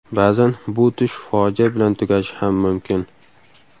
Ba’zan bu tush fojia bilan tugashi ham mumkin.